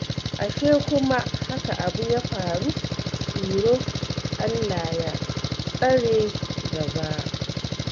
Ashe kuma haka abu ya faru, Iro? Allah ya tsare gaba